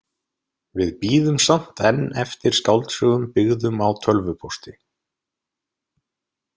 Við bíðum samt enn eftir skáldsögum byggðum á tölvupósti.